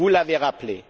vous l'avez rappelé